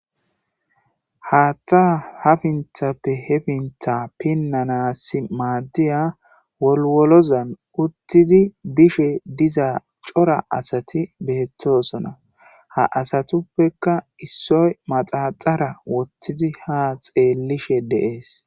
Haatta hafinthappe hefintha pinnanas maaddiya wolwolozan uttidi bishe diza cora asati beettosona ha asatuppekka issoy maxaxara wottidi ha xeellishe deees.